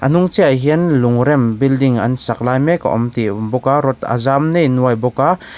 a hnung chiah ah hian lung rem building an sak lai mek a awm tih a awm bawk a rod a zau nei nuai bawk a.